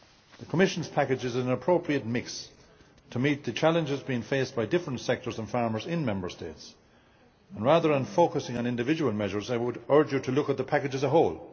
The Commission's package is an appropriate mix to meet the challenges being faced by different sectors and farmers in Member States, and rather than focusing on individual measures I would urge Members to look at the package as a whole.